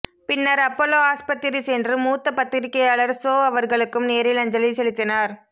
பின்னர் அப்பல்லோ ஆஸ்பத்திரி சென்று மூத்த பத்திரிகையாளர் சோ அவர்களுக்கும் நேரில் அஞ்சலி செலுத்தினார்